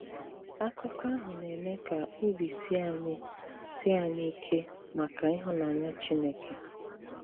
Àkụ̀kọ àhụ na-eme ka òbì s̀ìè ànyị̀ s̀ìè ànyị̀ ìkè maka ịhụnànyà Chìnékè.